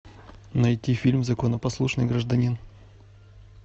найти фильм законопослушный гражданин